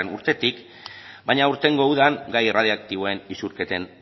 urtetik baina aurtengo udan gai erradioaktiboen isurketen